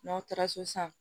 N'aw taara so sisan